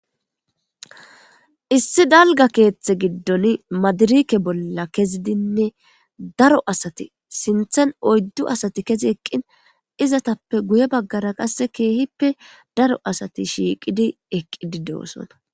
issi dalga keeththe giddon madirike bolla kezidinne daro asati sinthen oyddu asati kezi eqqin izatappe guye baggara qasse keehippe daro asati shiiqidi eqqi di deosona